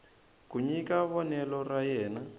ku nyika vonelo ra yena